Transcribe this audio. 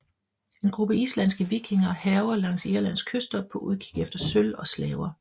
En gruppe islandske vikinger hærger langs Irlands kyster på udkig efter sølv og slaver